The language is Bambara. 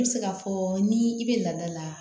I bɛ se k'a fɔ ni i bɛ lada la